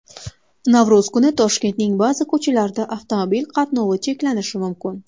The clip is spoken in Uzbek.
Navro‘z kuni Toshkentning ba’zi ko‘chalarida avtomobil qatnovi cheklanishi mumkin.